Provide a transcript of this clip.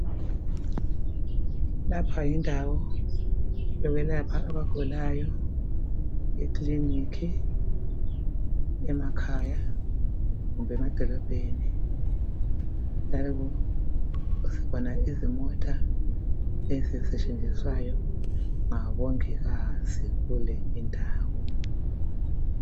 Lapha yindawo yokwelapha abagulayo, ekliniki emakhaya lemadolobheni, njalo sibona izimota ezisetshenziswayo ngabongikazi kule indawo.